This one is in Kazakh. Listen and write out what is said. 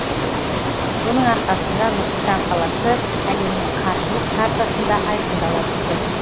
соның арқасында нұр сұлтан қаласы әлемнің қаржылық картасында айқындала түсті